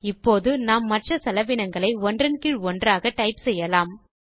இப்போது நாம் மற்ற செலவினங்களை ஒன்றன் கீழ் ஒன்றாக டைப் செய்யலாம்